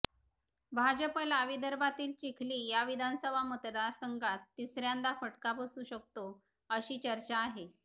भाजपलाही विदर्भातील चिखली या विधानसभा मतदारसंघात तिसय्रांदा फटका बसू शकतो अशी चर्चा आहे